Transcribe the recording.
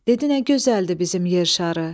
Dedi nə gözəldir bizim yer şarı.